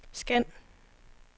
scan